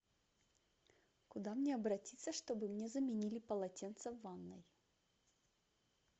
куда мне обратиться чтобы мне заменили полотенце в ванной